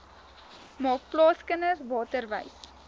maak plaaskinders waterwys